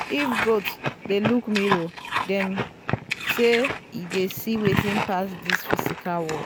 if goat dey look mirror dem say e dey see wetin pass this physical world.